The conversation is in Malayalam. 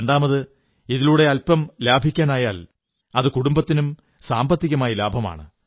രണ്ടാമത് ഇതിലൂടെ അല്പം ലാഭിക്കാനായാൽ അത് കുടുംബത്തിനും സാമ്പത്തികമായി ലാഭമാണ്